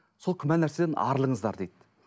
сол күмәнді нәрседен арылыңыздар дейді